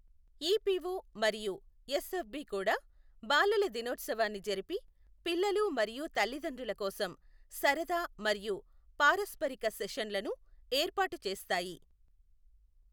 EPO మరియు SFB కూడా బాలల దినోత్సవాన్ని జరిపి, పిల్లలు మరియు తల్లిదండ్రుల కోసం సరదా మరియు పారస్పరిక సెషన్లను ఏర్పాటు చేస్తాయి.